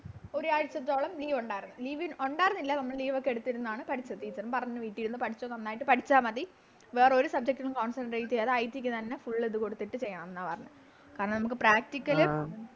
ഒരാഴ്ചത്തോളം Leave ഒണ്ടാരുന്നു Leave ഒണ്ടാരുന്നില്ല നമ്മള് Leave ഒക്കെ എടുത്തിരുന്നെയാണ് പഠിച്ചത് Teacher ഉം പറഞ്ഞു വീട്ടി ഇരുന്ന് പഠിച്ചോ നന്നായിട്ട് പഠിച്ച മതി വേറൊരു Subject ഉം Concentrate ചെയ്യാതെ IT തന്നെ Full ഇത് കൊടുത്തിട്ട് ചെയ്യണന്ന പറഞ്ഞെ കാരണം നമുക്ക് Practical